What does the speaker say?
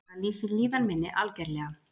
Það lýsir líðan minni, algerlega.